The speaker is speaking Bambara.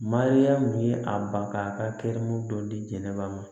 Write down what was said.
Mariyamu ye a ba ka kɛrɛ dɔ di jɛnɛba ma